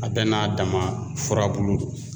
A bɛɛ n'a dama furabulu don.